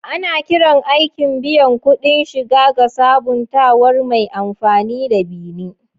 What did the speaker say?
Ana kiran aikin biyan kuɗin shiga ga sabuntawar mai amfani da "bi ni".